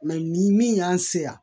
ni min y'an se yan